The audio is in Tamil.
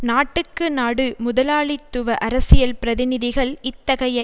நாட்டுக்கு நாடு முதலாளித்துவ அரசியல் பிரதிநிதிகள் இத்தகைய